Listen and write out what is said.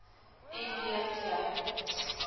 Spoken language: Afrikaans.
m b t